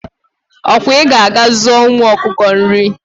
okwa I ka ga aga zuo ụmu ọkụkọ nri